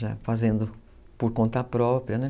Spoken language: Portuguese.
Já fazendo por conta própria, né?